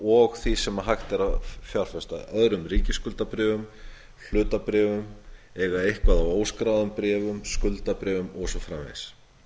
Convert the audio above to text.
og því sem hægt er að fjárfesta öðrum ríkisskuldabréfum hlutabréfum eiga eitthvað af óskráðum bréfum skuldabréfum og svo framvegis